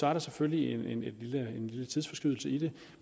er der selvfølgelig en lille tidsforskydelse i det